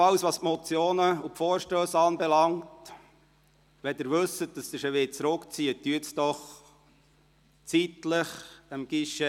Was die Motionen und Vorstösse anbelangt: Wenn Sie wissen, dass Sie sie zurückziehen wollen melden Sie das dem Guichet doch zeitnah.